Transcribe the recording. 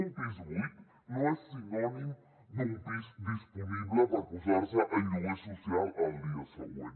un pis buit no és sinònim d’un pis disponible per posar se en lloguer social al dia següent